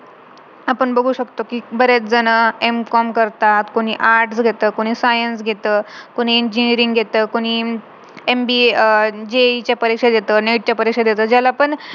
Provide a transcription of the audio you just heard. अशा कितीतरी example बघितलेत माझ्या life मध्ये की खूप हुशार आहेत खूप ninety percentage काढतात ते पण त्यांची जी maturity आहे ना ती